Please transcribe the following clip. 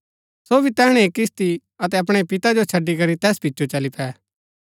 सो भी तैहणै ही किस्ती अतै अपणै पिता जो छड़ी करी तैस पिचो चली पै